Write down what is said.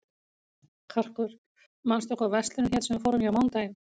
Karkur, manstu hvað verslunin hét sem við fórum í á mánudaginn?